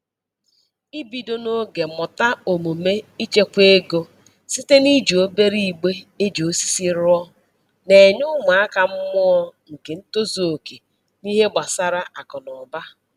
Ibido n'oge mụta omume ichekwa ego site na-iji obere igbe e ji osisi rụọ, na-enye ụmụaka mmụọ nke ntozuoke n'ihe gbasara akụ na ụba